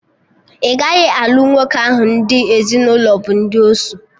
Ị gaghị alụ nwoke ahụ, ndị ezinụlọ bụ ndị osu